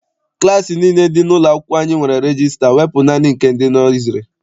Klassi nile dị n'ụlọ akwụkwọ anyị nwere regista wepụ naanị nke ndị nọiziri.